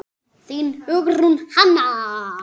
Þín, Hugrún Hanna.